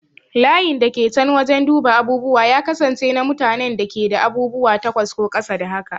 Layin da ke can wajen duba abubuwa ya kasance na mutanen da ke da abubuwa takwas ko ƙasa da haka.